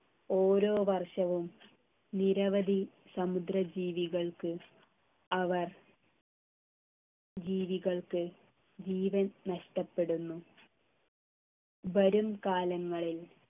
ഓരോ വർഷവും നിരവധി സമുദ്ര ജീവികൾക്ക് അവർ ജീവികൾക്ക് ജീവൻ നഷ്ടപ്പെടുന്നു വരും കാലങ്ങളിൽ